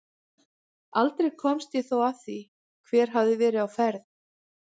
Aldrei komst ég þó að því hver þar hafði verið á ferð.